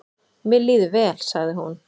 """Mér líður vel, sagði hún."""